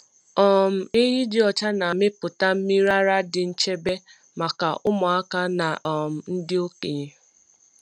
um Ehi dị ọcha na-amịpụta mmiri ara dị nchebe maka ụmụaka na um ndị okenye.